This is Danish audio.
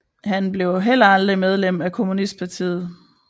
Han blev heller aldrig medlem af kommunistpartiet